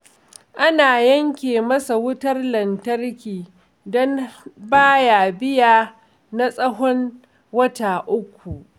An yanke masa wutar lantarki don ba ya biya na tsahon wata uku